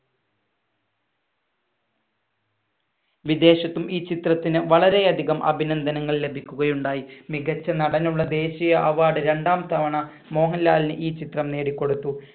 വിദേശത്തും ഈ ചിത്രത്തിന് വളരെയധികം അഭിനന്ദനങ്ങൾ ലഭിക്കുകയുണ്ടായി. മികച്ച നടനുള്ള ദേശീയ award രണ്ടാം തവണ മോഹൻലാലിന് ഈ ചിത്രം നേടിക്കൊടുത്തു.